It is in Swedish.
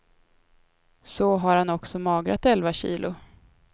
Så har han också magrat elva kilo.